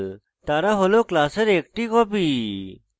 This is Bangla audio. তারা হল class একটি copy